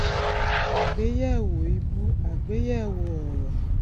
àgbéyẹwò ìbú àgbéyẹwò òòró